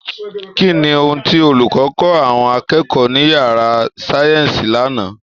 Kí ni ohun tí olùkọ́ kọ̀ àwọn akẹ́kọ̀ọ́ ní yàrá sáyẹ́ǹsì lánàá!